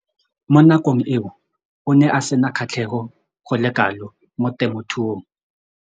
Mo nakong eo o ne a sena kgatlhego go le kalo mo temothuong.